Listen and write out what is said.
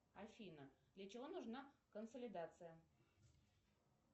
афина для чего нужна консолидация